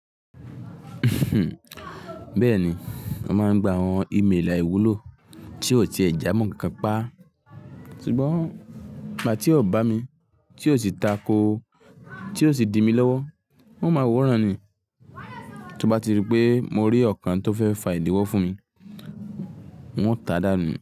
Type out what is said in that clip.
Bẹ́ẹ̀ni, mo máa ń gba àwọn email àìwúlò tí ó ti ẹ̀ jámo nkankan pa. Sugbon ìgbà tí ó bá mi, tí ó sì tako, tí ó sì di mí lọ́wọ́, n o máa wòrán ni. Tí ó bá ti rí pé mo rí ọ̀kan tó fẹ́ fa ìdíwọ́ fún mi, n o ta dàá nù.